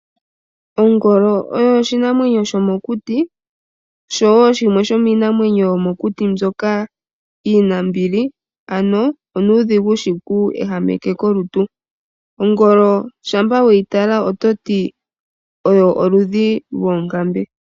Ongolo oyo oshinamwenyo shomokuti, osho wo shimwe shomiinamwenyo yomokuti mbyoka iinambili, ano onuudhigu shiku ehameke kolutu. Ongolo shampa weyi tala ototi oyo oludhi lwoonkambe.